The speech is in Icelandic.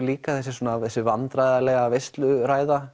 líka þessi vandræðalega